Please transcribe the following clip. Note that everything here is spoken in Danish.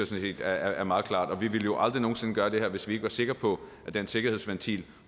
set er meget klart vi ville jo aldrig nogen sinde gøre det her hvis vi ikke var sikre på at den sikkerhedsventil